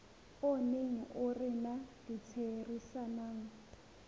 o neng o rena ditherisanong